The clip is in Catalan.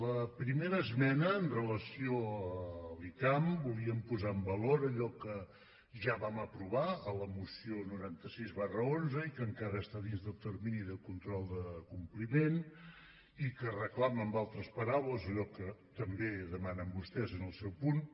la primera esmena amb relació a l’icam volíem posar en valor allò que ja vam aprovar a la moció noranta sis xi i que encara està dins del termini del control de compliment i que reclama amb altres paraules allò que també demanen vostès en el seu punt